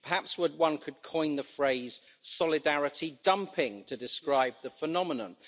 Perhaps one could coin the phrase solidarity dumping' to describe the phenomenon.